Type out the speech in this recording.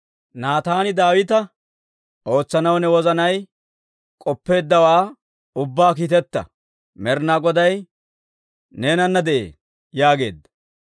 Naataan Daawita, «Ootsanaw ne wozanay k'oppeeddawaa ubbaa kiiteta; Med'inaa Goday neenana de'ee» yaageedda.